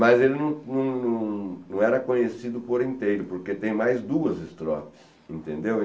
Mas ele não não não era conhecido por inteiro, porque tem mais duas estrofes, entendeu?